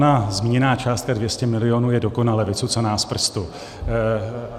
Ona zmíněná částka 200 milionů je dokonale vycucaná z prstu.